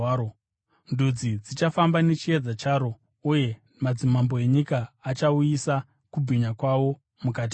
Ndudzi dzichafamba nechiedza charo, uye madzimambo enyika achauyisa kubwinya kwawo mukati maro.